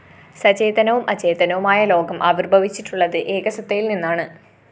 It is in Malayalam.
സചേതനവും അചേതനവുമായ ലോകം ആവിര്‍ഭവിച്ചിട്ടുള്ളത് ഏകസത്തയില്‍നിന്നാണ്